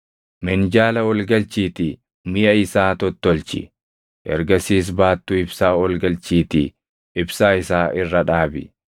Minjaala ol galchiitii miʼa isaa tottolchi. Ergasiis baattuu ibsaa ol galchiitii ibsaa isaa irra dhaabi.